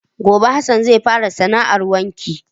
Gobe Hassan zai fara sana 'ar wanki.